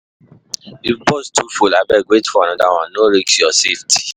If bus too full, abeg wait for another one, no risk your safety.